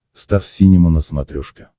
стар синема на смотрешке